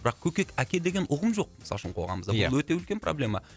бірақ көкек әке деген ұғым жоқ мысалы үшін қоғамымызда ия бұл өте үлкен проблема